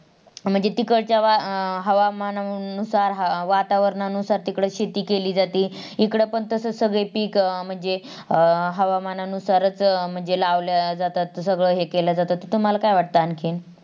म्हणजे अं तिकडच्या हवामानानुसार, वातावरणानुसार तिकडं शेती केली जाते. इकडे पण सगळे पीक म्हणजे अं हवामानानुसारच म्हणजे लावल्या जातात सगळं हे केल जातत्. तुम्हाला काय वाटत आणखीन